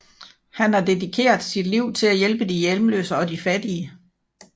Han har dedikeret sit liv til at hjælpe de hjemløse og de fattige